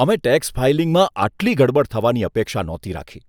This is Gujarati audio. અમે ટેક્સ ફાઇલિંગમાં આટલી ગરબડ થવાની અપેક્ષા નહોતી રાખી!